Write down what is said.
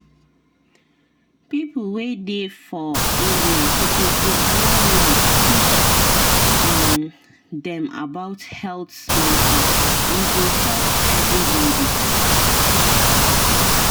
people wey dey for area suppose dey allow nurse teach um dem about health matter e go help everybody.